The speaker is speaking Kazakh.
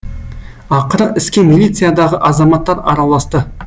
ақыры іске милициядағы азаматтар араласты